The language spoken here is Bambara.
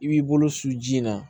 I b'i bolo su ji in na